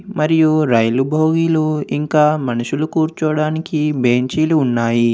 మరియు రైలు భోగీలు ఇంకా మనుషులు కూర్చోవడానికి బెంచీలు ఉన్నాయి.